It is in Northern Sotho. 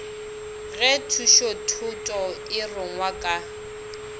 ge thušothuto e rungwa ka